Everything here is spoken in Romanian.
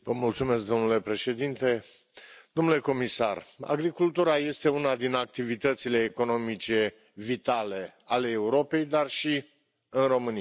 Domnule președinte, domnule comisar, agricultura este una din activitățile economice vitale ale Europei, dar și în România.